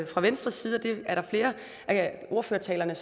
fra venstres side flere af ordførertalerne